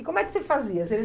E como é que você fazia? Você